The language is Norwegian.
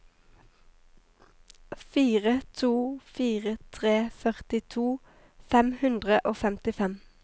fire to fire tre førtito fem hundre og femtifem